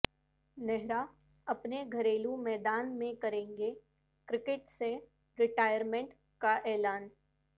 نہرا اپنے گھریلو میدان میں کریں گے کرکٹ سے ریٹائرمنٹ کا اعلان